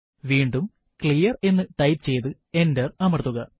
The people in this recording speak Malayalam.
വീണ്ടും ക്ലിയർ എന്ന് ടൈപ്പ് ചെയ്തു എന്റർ അമർത്തുക